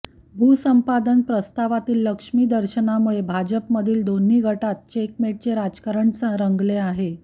भूसंपादन प्रस्तावातील लक्ष्मीदर्शनामुळे भाजपमधील दोन गटांत चेकमेटचे राजकारण रंगले आहे